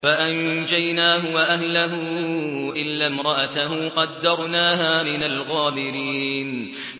فَأَنجَيْنَاهُ وَأَهْلَهُ إِلَّا امْرَأَتَهُ قَدَّرْنَاهَا مِنَ الْغَابِرِينَ